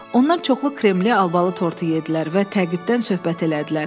Onlar çoxlu kremli albalı tortu yeddilər və təqibdən söhbət elədilər.